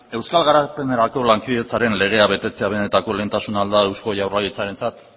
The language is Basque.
euskal garapenerako lankidetzaren legea betetzea benetako lehentasuna ahal da eusko jaurlaritzarentzat